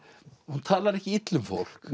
hún talar ekki illa um fólk